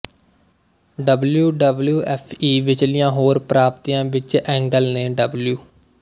W W F E ਵਿਚਲੀਆਂ ਹੋਰ ਪ੍ਰਾਪਤੀਆਂ ਵਿੱਚ ਐਂਗਲ ਨੇ ਡਬਲਯੂ